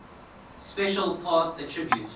special path attribute